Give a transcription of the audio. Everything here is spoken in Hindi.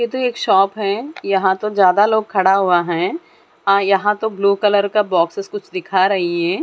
ये तो एक शॉप है यहां तो ज्यादा लोग खड़ा हुआ है यहां तो ब्लू कलर का बॉक्स से कुछ दिखा रही है।